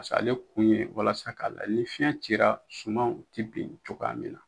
Paseke ale kun ye walasa k'a lajɛ ni fiɲɛ cira sumanw ti bin cogoya min na